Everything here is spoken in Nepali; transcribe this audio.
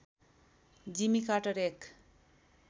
जिमी कार्टर एक